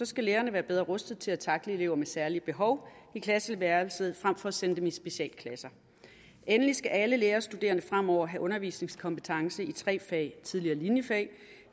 skal lærerne være bedre rustet til at tackle elever med særlige behov i klasseværelset frem for at sende dem i specialklasser endelig skal alle lærerstuderende fremover have undervisningskompetence i tre fag tidligere linjefag